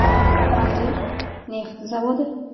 Manzil: Neft zavodi.